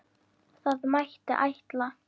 Það mætti ætla.